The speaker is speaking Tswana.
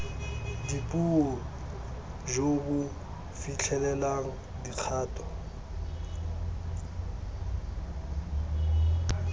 dipuo jo bo fitlhelelang dikgato